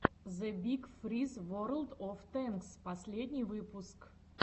зэ биг фриз ворлд оф тэнкс последний выпуск